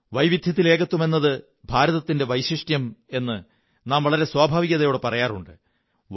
വൈവിധ്യത്തിൽ ഏകത്വമെന്നത് ഭാരതത്തിന്റെ വൈശിഷ്ട്യം എന്ന് നാം വളരെ സ്വാഭാവികതയോടെ പറയാറുണ്ട്